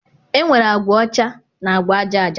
enwere agwa ọcha na agwa aja aja